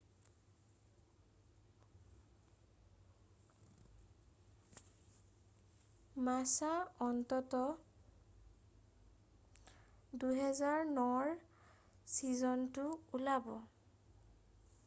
মাছা অন্ততঃ 2009ৰ ছীজনটো ওলাব